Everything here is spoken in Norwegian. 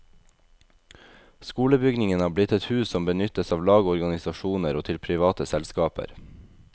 Skolebygningen har blitt et hus som benyttes av lag og organisasjoner, og til private selskaper.